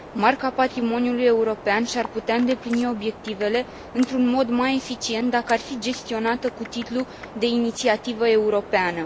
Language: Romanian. Marca patrimoniului european și ar putea îndeplini obiectivele într un mod mai eficient, dacă ar fi gestionată cu titlu de inițiativă europeană.